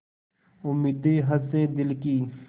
उम्मीदें हसें दिल की